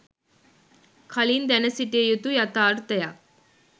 කලින් දැනසිටිය යුතු යතාර්තයක්